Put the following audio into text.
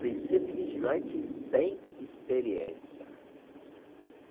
Precisa de vigilante sem experiência.